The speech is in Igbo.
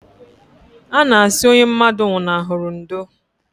A na asị onye mmadụ nwụnahụrụ ndo